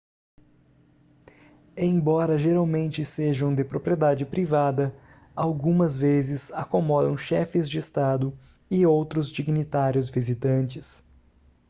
embora geralmente sejam de propriedade privada algumas vezes acomodam chefes de estado e outros dignitários visitantes